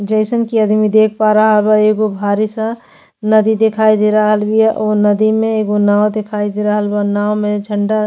जइसन कि अदमी देख पा रहल बा एगो भारी सा नदी देखाई दे रहल बिया। ओ नदी में एगो नाव देखाई दे रहल बा। नाव में झंडा --